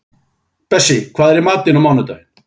Bessí, hvað er í matinn á mánudaginn?